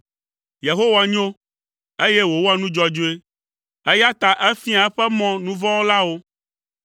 Yehowa nyo, eye wòwɔa nu dzɔdzɔe, eya ta efiaa eƒe mɔ nu vɔ̃ wɔlawo.